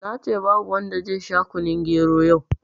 Nace babu wanda zai sha kunun gero yau